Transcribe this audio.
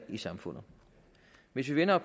i samfundet hvis vi vender